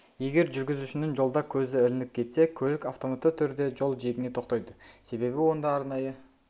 егер жүргізушінің жолда көзі ілініп кетсе көлік автоматты түрде жол жиегіне тоқтайды себебі онда арнайы